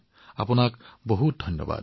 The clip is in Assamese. এইখিনি কথা যেতিয়া শ্ৰোতা ৰাইজে শুনিব